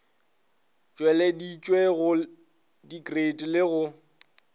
tšweleditšwe go dikreiti le go